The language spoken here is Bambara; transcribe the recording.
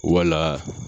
Wala